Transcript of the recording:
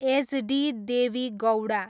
HD. Devegowda